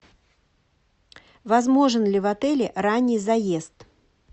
возможен ли в отеле ранний заезд